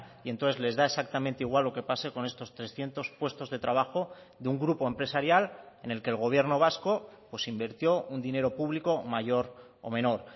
y entonces les da exactamente igual lo que pase con estos trescientos puestos de trabajo de un grupo empresarial en el que el gobierno vasco invirtió un dinero público mayor o menor